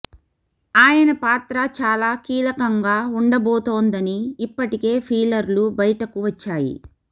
ఆయన పాత్ర చాలా కీలకంగా వుండబోతోందని ఇప్పటికే ఫీలర్లు బయటకు వచ్చాయి